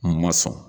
Ma sɔn